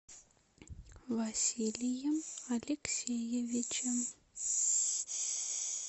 василием алексеевичем